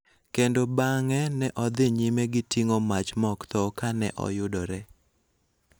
kendo bang�e ne odhi nyime gi ting�o mach ma ok tho ka ne oyudore.